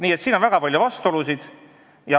Nii et siin on väga palju vastuolusid.